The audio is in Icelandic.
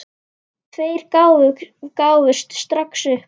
Tveir gáfust strax upp.